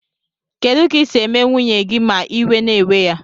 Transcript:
Kedu ka isi eme nwunye gi ma iwe na ewe ya?